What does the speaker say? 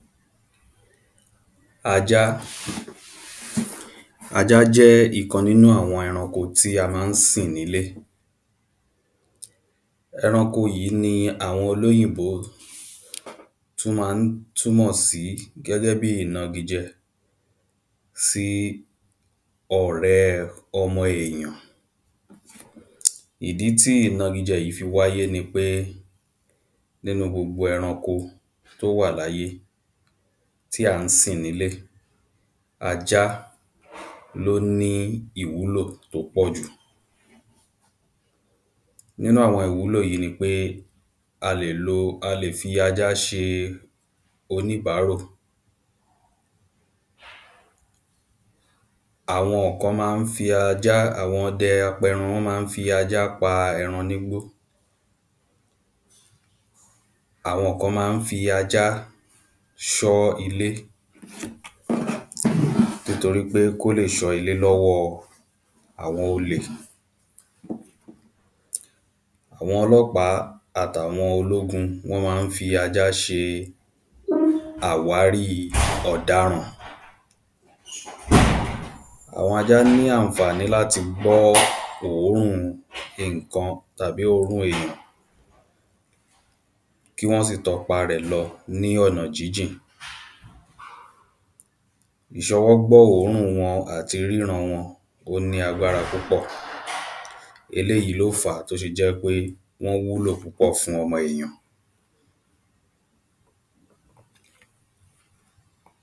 Ajá Ajá jẹ́ ìkan nínú àwọn ẹranko tí a ma ń sìn nílé Ẹranko yìí ni àwọn olóyìnbò tún máa ń túmọ̀ sí gẹ́gẹ́ bíi ìnagijẹ sí ọ̀rẹ́ ọmọ èèyàn Ìdí tí ìnagijẹ yìí fi wáyé ni pé nínú gbogbo ẹranko tí ó wà ní ayé tí à ń sìn ní ilé ajá ni ó ní ìwúlò tí ó pọ̀ jù Nínú àwọn ìwúlò yìí ni pé a lè lo a lè fi ajá ṣe oníbárò Àwọn kan máa ń fi ajá àwọn ọdẹ apẹran wọ́n máa ń fi ajá pa ẹran ní igbó Àwọn kan máa ń fi ajá ṣọ́ ilé nítorí kí ó lè ṣọ́ ilé ni ọwọ́ àwọn olè Àwọn ọlọ́pàá àti àwọn ológun wọ́n máa ń fi ajá ṣe àwárí ọ̀daràn Àwọn ajá ní àǹfàní láti gbọ́ òórùn nǹkan tàbí òórùn èyàn kí wọ́n sì tọ ipa rẹ̀ lọ ní ọ̀nà jíjìn Ìṣọwọ́ gbọ́ òórùn wọn àti rí ìran wọn ó ní agbára púpọ̀ Eléyì ni ó fàá tí ó ṣe jẹ́ ń pé wọ́n wúlò púpọ̀ fún ọmọ èyàn